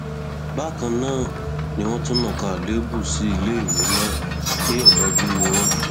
bákan náà ni wọn tún nàka àléébù sí iléèwé náà pé òdájú ni wọn